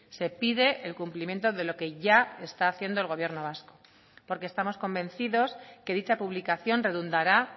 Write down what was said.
se pide el cumplimiento de lo que ya está haciendo el gobierno vasco porque estamos convencidos que dicha publicación redundará